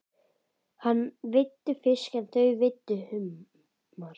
Hann veiddi fisk en þau veiddu humar.